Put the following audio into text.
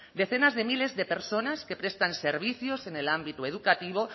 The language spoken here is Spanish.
decenas de miles de personas que prestan servicios en el ámbito educativo